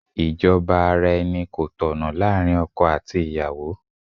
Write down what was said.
Ìjọba ara-ẹni kò tọ̀nà láàárín ọkọ àti ìyàwó.